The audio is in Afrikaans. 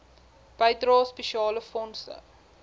bydrae spesiale fondse